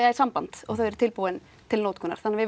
í samband og þeir eru tilbúnir til notkunar þannig við